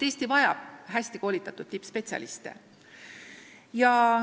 Eesti vajab hästi koolitatud tippspetsialiste.